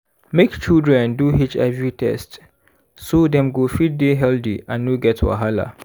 make children do hiv test so dem go fit dey healthy and no get wahala.